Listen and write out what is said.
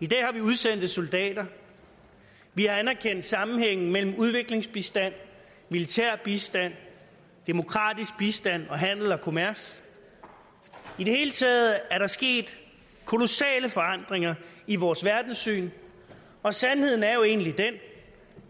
i dag har vi udsendte soldater vi har anerkendt sammenhængen mellem udviklingsbistand militær bistand demokratisk bistand og handel og kommers i det hele taget er der sket kolossale forandringer i vores verdenssyn og sandheden er jo egentlig den